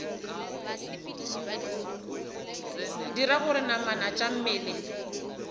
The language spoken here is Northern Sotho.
dira gore namana tša mmele